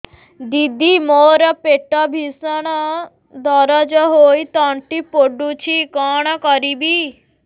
ଦିଦି ମୋର ପେଟ ଭୀଷଣ ଦରଜ ହୋଇ ତଣ୍ଟି ପୋଡୁଛି କଣ କରିବି